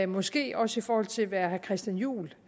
måske også i forhold til hvad herre christian juhl